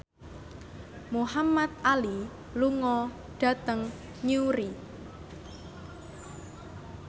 Muhamad Ali lunga dhateng Newry